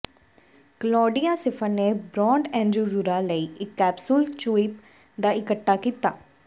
Claudia Schiffer ਨੇ brand Aquazzura ਲਈ ਇੱਕ ਕੈਪਸੂਲ ਚੂਇਪ ਦਾ ਇੱਕਠਾ ਕੀਤਾ